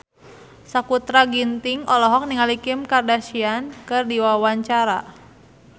Sakutra Ginting olohok ningali Kim Kardashian keur diwawancara